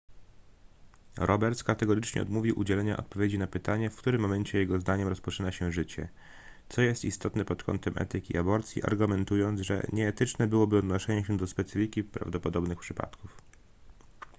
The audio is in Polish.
roberts kategorycznie odmówił udzielenia odpowiedzi na pytanie w którym momencie jego zdaniem rozpoczyna się życie co jest istotne pod kątem etyki aborcji argumentując że nieetyczne byłoby odnoszenie się do specyfiki prawdopodobnych przypadków